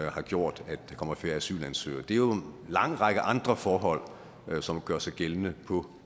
har gjort at der kommer færre asylansøgere det er jo en lang række andre forhold som gør sig gældende på